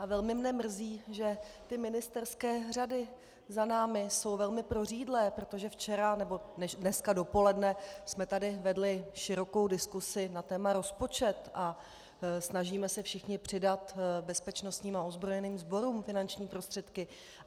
A velmi mne mrzí, že ty ministerské řady za námi jsou velmi prořídlé, protože včera nebo dneska dopoledne jsme tady vedli širokou diskusi na téma rozpočet a snažíme se všichni přidat bezpečnostním a ozbrojeným sborům finanční prostředky.